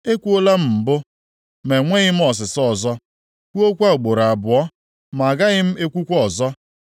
Ekwuola m mbụ, ma enweghị m ọsịsa ọzọ kwuokwa ugboro abụọ, ma agaghị m ekwukwa ọzọ.”